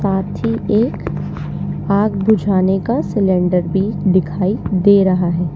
साथ ही एक आग बुझाने का सिलेंडर भी दिखाई दे रहा है।